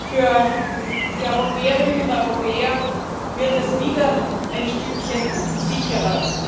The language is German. Für die Europäerinnen und Europäer wird es wieder ein Stückchen sicherer!